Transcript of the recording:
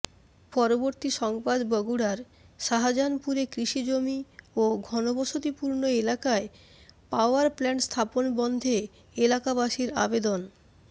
পরবর্তী সংবাদ বগুড়ার শাজাহানপুরে কৃষি জমি ও ঘনবসতিপূর্ণ এলাকায় পাওয়ার প্লাণ্ট স্থাপন বন্ধে এলাকাবাসির আবেদন